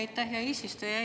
Aitäh, hea eesistuja!